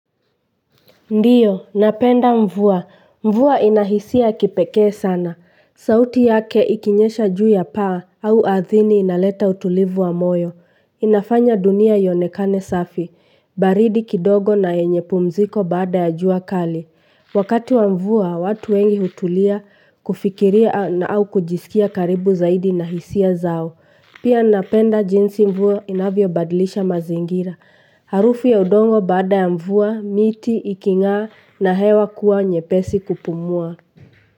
Ndiyo, napenda mvua. Mvua inahisia ya kipekee sana. Sauti yake ikinyesha juu ya paa au ardhini inaleta utulivu wa moyo. Inafanya dunia ionekane safi. Baridi kidogo na yenye pumziko baada ya jua kali. Wakati wa mvua, watu wengi hutulia kufikiria na au kujisikia karibu zaidi na hisia zao. Pia napenda jinsi mvua inavyobadilisha mazingira. Harufu ya udongo baada ya mvua, miti, iking'aa na hewa kuwa nyepesi kupumua.